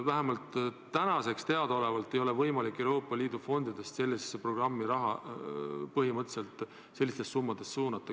Vähemalt täna teada olevalt ei ole võimalik Euroopa Liidu fondidest sellise programmi jaoks raha nii suurtes summades suunata.